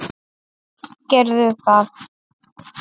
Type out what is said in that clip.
Gerðu það.